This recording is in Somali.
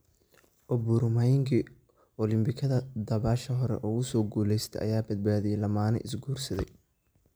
Oburu maingi: Olimbikada dabaasha hore ugu soo guulaystay ayaa badbaadiyay lamaane is guursaday